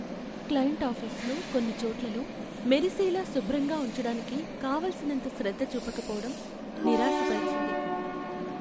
Client ఆఫీసులో కొన్ని చోట్లలో మెరిసేలా శుభ్రంగా ఉంచడానికి కావలసినంత శ్రద్ధ చూపకపోవడం నిరాశపరిచింది.